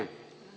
Ja tasuta kohale.